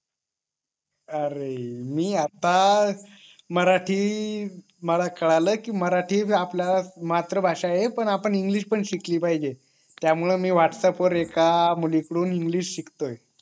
अरे मी आता मराठी मला कळालं कि मराठी आपल मातृ भाषा ये पण आपण इंग्लिश पण शिकली पाहिजे त्या मुळे मी व्हाट्सअँप वर एका मुली कडून इंग्लिश शिकतोय